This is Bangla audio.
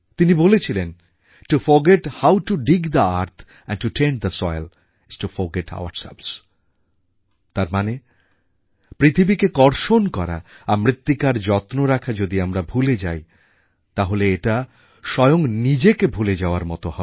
তিনি বলেছিলেন to forget how to dig the earth and to tend the soil is to forget ourselves তার মানে পৃথিবীকে কর্ষণ করা আর মৃত্তিকার যত্ন রাখা যদি আমরা ভুলে যাই তাহলে এটা স্বয়ং নিজেকে ভুলে যাওয়ার মত হবে